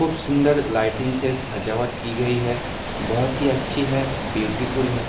खूब सुन्दर लाइटिंग से सजावत की गयी है बहोत ही अच्छी है ब्यूटीफुल है ।